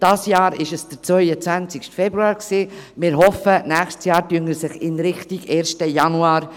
Wir hoffen, im nächsten Jahr verschiebe sich der «Equal Pay Day» in Richtung 1. Januar.